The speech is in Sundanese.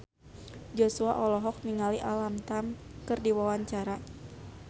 Joshua olohok ningali Alam Tam keur diwawancara